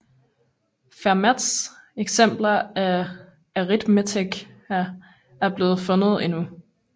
Fermats eksemplar af Arithmetica er ikke blevet fundet endnu